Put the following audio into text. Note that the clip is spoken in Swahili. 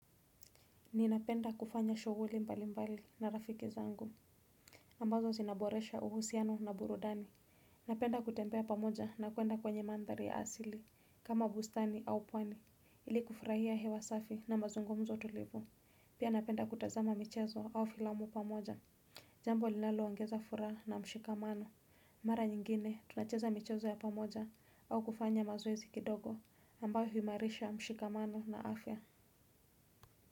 Ninapenda kufanya shughuli mbalimbali na rafiki zangu ambazo zinaboresha uhusiano na burudani. Napenda kutembea pamoja na kuenda kwenye manthari ya asili kama bustani au pwani. Ili kufurahia hewa safi na mazungumzo tulivu pia napenda kutazama michezo au filamu pamoja. Jambo linaloongeza furaha na mshikamano mara nyingine tunacheza michezo ya pamoja au kufanya mazoezi kidogo ambayo huimarisha mshikamano na afya.